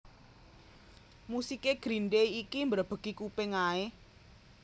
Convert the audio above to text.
Musik e Green Day iki mbrebegi kuping ae